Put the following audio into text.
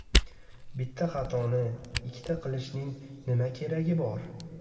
Bitta xatoni ikkita qilishning nima keragi bor?!